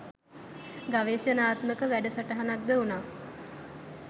ගවේෂණාත්මක වැඩ සටහනක් ද වුණා.